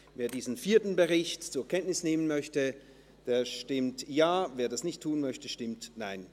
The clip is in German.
Wer diesen vierten Bericht zur Kenntnis nehmen möchte, stimmt Ja, wer dies ablehnt, stimmt Nein.